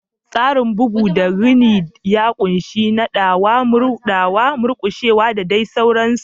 Tsarin bugu da rini ya ƙunshi naɗawa, murɗawa, murƙushewa, da dai sauransu.